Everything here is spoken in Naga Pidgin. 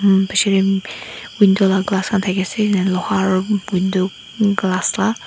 window laga glass khan thaki ase enika luha aru window glass la.